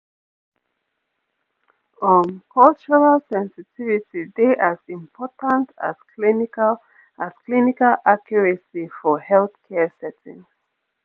pause um cultural sensitivity dey as important as clinical as clinical accuracy for healthcare settings